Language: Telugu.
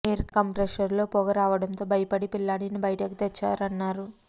ఎయిర్ కంప్రెషర్ లో పొగ రావడంతో బయపడి పిల్లాడిని బయటికి తెచ్చారన్నారు